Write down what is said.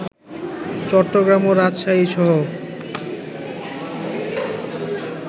চট্টগ্রাম ও রাজশাহীসহ